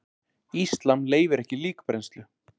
Íslam leyfir ekki líkbrennslu.